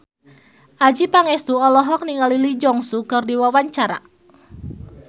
Adjie Pangestu olohok ningali Lee Jeong Suk keur diwawancara